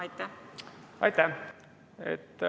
Aitäh!